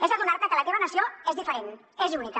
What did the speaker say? és adonar te que la teva nació és diferent és única